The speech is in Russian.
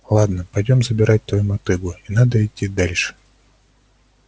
ладно пойдём забирать твою мотыгу и надо идти дальше